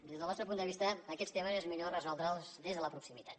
des del nostre punt de vista aquests temes és millor resoldre’ls des de la proximitat